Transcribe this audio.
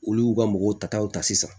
Olu y'u ka mɔgɔw ta taw ta sisan